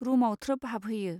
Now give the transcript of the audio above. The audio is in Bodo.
रूमाव थ्रोब हाबहैयो.